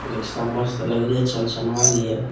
Rickshaw मस्त लग रही है चमचमा रिया है।